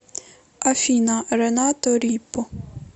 афина ренато рипо